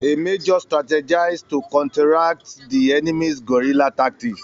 A major strategized to counteract the enemy's guerilla tactics.